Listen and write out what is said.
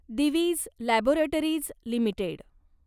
Divij laboratories limited